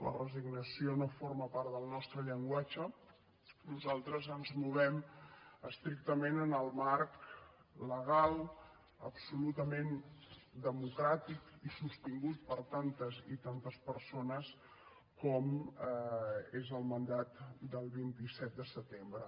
la resignació no forma part del nostre llenguatge nosaltres ens movem estrictament en el marc legal absolutament democràtic i sostingut per tantes i tantes persones com és el mandat del vint set de setembre